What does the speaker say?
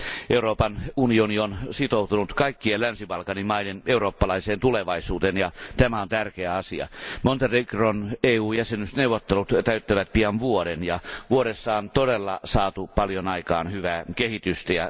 Euroopan unioni on sitoutunut kaikkien Länsi Balkanin maiden eurooppalaiseen tulevaisuuteen, ja tämä on tärkeä asia. Montenegron EU jäsenyysneuvottelut täyttävät pian vuoden, ja vuodessa on todella saatu paljon aikaan hyvää kehitystä.